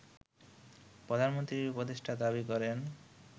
প্রধানমন্ত্রীর উপদেষ্টা দাবি করেন